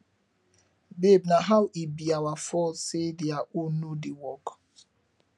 babe naa how e be our fault say their own no dey work